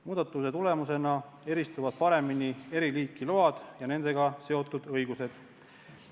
Muudatuse tulemusena eristuvad paremini eri liiki load ja nendega seotud õigused.